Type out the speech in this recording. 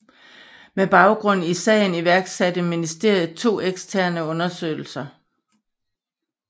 Med baggrund i sagen iværksatte ministeriet to eksterne undersøgelser